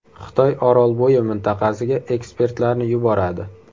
Xitoy Orolbo‘yi mintaqasiga ekspertlarni yuboradi.